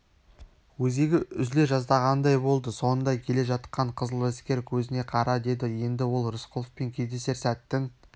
өзегі үзіле жаздағандай болды соңында келе жатқан қызыләскер көзіңе қара деді енді ол рысқұловпен кездесер сәттің